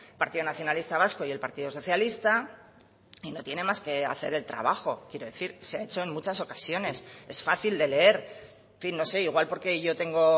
partido nacionalista vasco y el partido socialista y no tiene más que hacer el trabajo quiero decir se ha hecho en muchas ocasiones es fácil de leer en fin no sé igual porque yo tengo